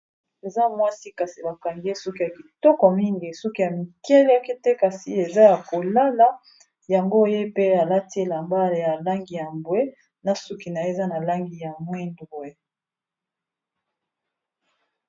Eza mwasi kasi ba kangi ye suki ya kitoko mingi suki ya mikeleke te kasi eza ya kolala yango ye pe alati elamba ya langi ya mbwe na suki naye eza na langi ya mwindu.